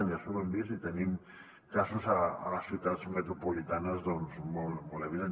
i això ho hem vist i en tenim casos a les ciutats metropolitanes doncs molt evidents